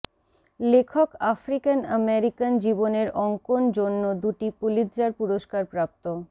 লেখক African American জীবনের অঙ্কন জন্য দুটি পুলিৎজার পুরস্কার প্রাপ্ত